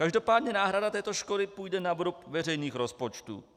Každopádně náhrada této škody půjde na vrub veřejných rozpočtů.